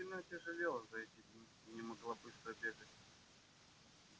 она сильно отяжелела за эти дни и не могла быстро бегать